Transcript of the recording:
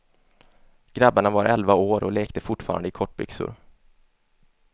Grabbarna var elva år och lekte fortfarande i kortbyxor.